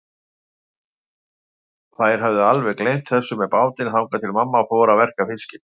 Þær höfðu alveg gleymt þessu með bátinn, þangað til mamma fór að verka fiskinn.